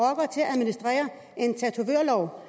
administrere en tatovørlov